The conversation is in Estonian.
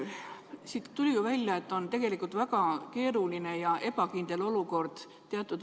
Siit tuli ju välja, et tegelikult on teatud vanuses inimestel väga keeruline ja ebakindel olukord.